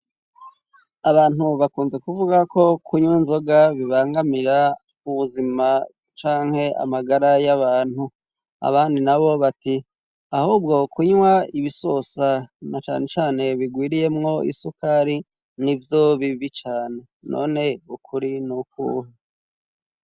abantu bakunze kuvuga ko kunywa inzoga bibangamira ubuzima canke amagara y'abantu ,abandi nabo bati ahubwo kunywa ibisosa na cane cane bigwiriyemwo isukari n'ibyo bibi cane ,none ukuri n'ukuhu.